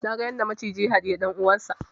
Naga yadda maciji ya haɗiyi dan uwansa